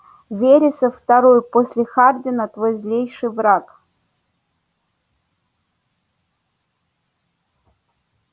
вересов второй после хардина твой злейший враг